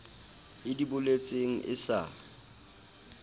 e di boletseng e sa